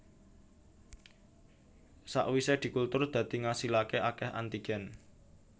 Sakwise dikultur dadi ngasilaké akeh antigen